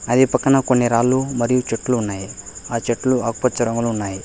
అది పక్కన కొన్ని రాళ్లు మరియు చెట్లు ఉన్నాయి ఆ చెట్లు ఆకుపచ్చ రంగులు ఉన్నాయి.